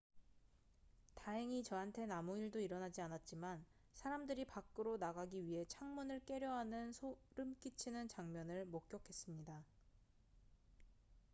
"""다행히 저한텐 아무 일도 일어나지 않았지만 사람들이 밖으로 나가기 위해 창문을 깨려 하는 소름 끼치는 장면을 목격했습니다.